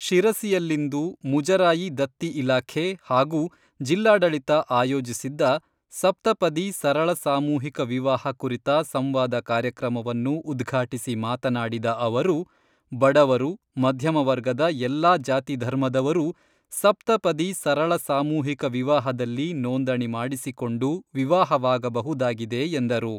ಶಿರಸಿಯಲ್ಲಿಂದು ಮುಜರಾಯಿ ದತ್ತಿ ಇಲಾಖೆ ಹಾಗೂ ಜಿಲ್ಲಾಡಳಿತ ಆಯೋಜಿಸಿದ್ದ 'ಸಪ್ತಪದಿ ಸರಳ ಸಾಮೂಹಿಕ ವಿವಾಹ 'ಕುರಿತ ಸಂವಾದ ಕಾರ್ಯಕ್ರಮವನ್ನು ಉದ್ಘಾಟಿಸಿ ಮಾತನಾಡಿದ ಅವರು, ಬಡವರು, ಮಧ್ಯಮ ವರ್ಗದ ಎಲ್ಲ ಜಾತಿ ಧರ್ಮದವರೂ ಸಪ್ತಪದಿ ಸರಳ ಸಾಮೂಹಿಕ ವಿವಾಹದಲ್ಲಿ ನೋಂದಣಿ ಮಾಡಿಸಿಕೊಂಡು ವಿವಾಹವಾಗಬಹುದಾಗಿದೆ ಎಂದರು.